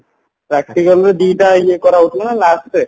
practicalରେ ଦିଟା ଇଏ କରା ହଉନଥିଲା ନା lastରେ